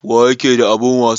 Wa ƴaƙe da abun wasa?